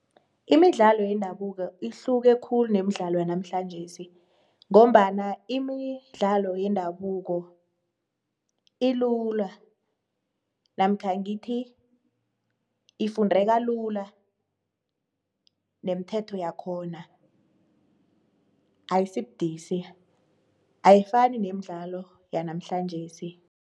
Imidlalo yendabuko ihluke khulu nemidlalo yanamhlanjesi ngombana imidlalo yendabuko ilula namkha ngithi ifundeka lula nemithetho yakhona ayisibudisi, ayifani nemidlalo yanamhlanjesi.